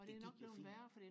det gik jo fint